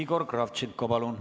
Igor Kravtšenko, palun!